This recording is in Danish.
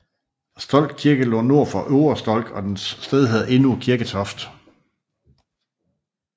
Stolk Kirke lå nord for Ovre Stolk og dens sted hedder endnu Kirketoft